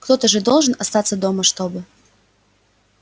кто-то же должен остаться дома чтобы